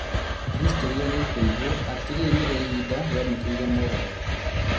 Historĩ nĩkũigwo atĩ rĩrĩ nĩrĩo ihinda rĩamũkĩrire moogarũrũku